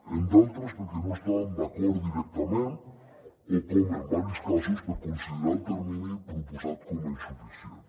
en d’altres perquè no hi estàvem d’acord directament o com en diversos casos per considerar el termini proposat com a insuficient